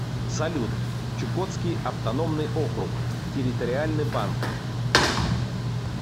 салют чукотский автономный округ территориальный банк